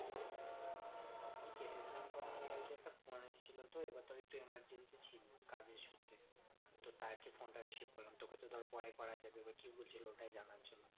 phone এসেছিল তো এবার তাই একটু emergency ছিল কাজের সূত্রে তো তাই phone টা receive করলাম তোকে তো ধর পরে করা যাবে বা কি বলছিলো সেটাই জানার জন্য